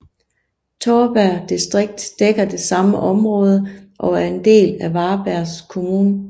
Torpa distrikt dækker det samme område og er en del af Varbergs kommun